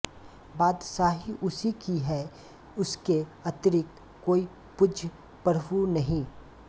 बादशाही उसी की है उसके अतिरिक्त कोई पूज्यप्रभु नहीं